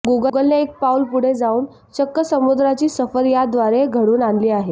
गुगलने एक पाऊल पुढे जाऊन चक्क समुद्रांची सफर याद्वारे घडवून आणली आहे